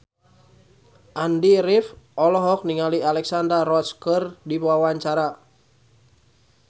Andy rif olohok ningali Alexandra Roach keur diwawancara